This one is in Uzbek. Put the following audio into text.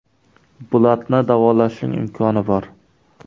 Bulatni davolashning imkoni bor.